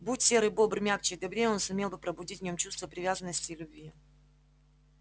будь серый бобр мягче и добрее он сумел бы пробудить в нём чувство привязанности и любви